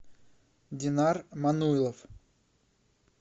динар мануйлов